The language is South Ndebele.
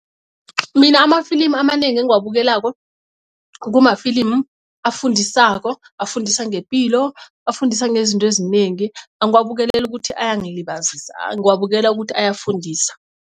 Mina amafilimu amanengi engiwabukelako kumafilimu afundisako afundisa ngepilo afundisa ngezinto ezinengi angiwabukeleli ukuthi ayangilibazisa ngiwabukelela ukuthi ayafundisa.